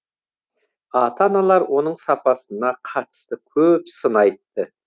ата аналар оның сапасына қатысты көп сын айтты